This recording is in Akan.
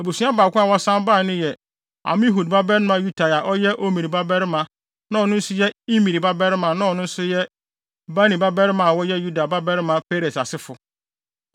Abusua baako a wɔsan bae no yɛ Amihud babarima Utai a ɔyɛ Omri babarima na ɔno nso yɛ Imri babarima na ɔno nso yɛ Bani babarima a wɔyɛ Yuda babarima Peres asefo.